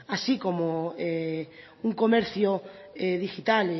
así como un comercio digital